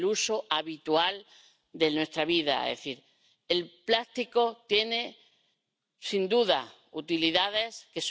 Señora presidenta, proteger el medio ambiente es imprescindible como garantía de futuro.